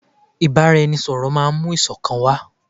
Ìbáraẹnisọ̀rọ̀ máà mú ìṣọ̀kan wá.